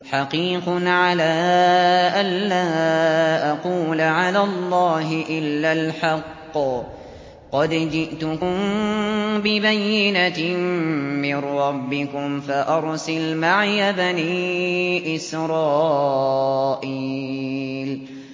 حَقِيقٌ عَلَىٰ أَن لَّا أَقُولَ عَلَى اللَّهِ إِلَّا الْحَقَّ ۚ قَدْ جِئْتُكُم بِبَيِّنَةٍ مِّن رَّبِّكُمْ فَأَرْسِلْ مَعِيَ بَنِي إِسْرَائِيلَ